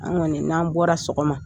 An' ŋɔni n'an bɔra sɔgɔma